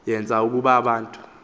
yenza ukuba abantu